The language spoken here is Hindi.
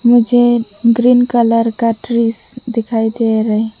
मुझे ग्रीन कलर का ट्रीज दिखाई दे रहे --